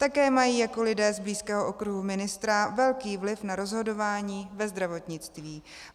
Také mají jako lidé z blízkého okruhu ministra velký vliv na rozhodování ve zdravotnictví.